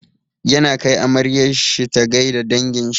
Yana kai amaryar shi ta gai da dangin shi.